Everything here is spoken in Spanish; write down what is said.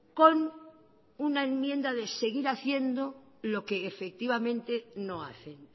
con una enmienda de seguir haciendo lo que efectivamente no hacen